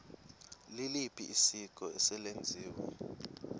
liliphi isiko eselenziwe